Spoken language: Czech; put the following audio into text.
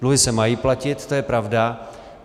Dluhy se mají platit, to je pravda.